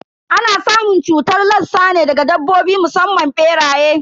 Ana samun cutar lassa ne daga dabbobi musamman beraye.